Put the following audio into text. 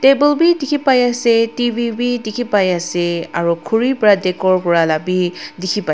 table bi dikhipaiase T_V bi dikhipaiase aro khuri pra decore Kura la bi dikhipai--